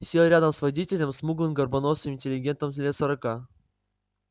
сел рядом с водителем смуглым горбоносым интеллигентом лет сорока